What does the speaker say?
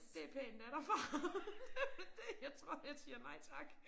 Det pænt af dig far det det jeg tror jeg siger nej tak